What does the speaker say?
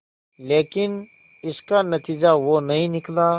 लेकिन इसका नतीजा वो नहीं निकला